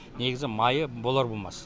негізі майы болар болмас